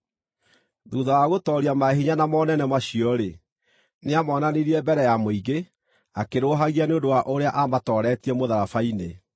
Thuutha wa gũtooria maahinya na monene macio-rĩ, nĩamonanirie mbere ya mũingĩ, akĩrũũhagia nĩ ũndũ wa ũrĩa aamatooretie mũtharaba-inĩ.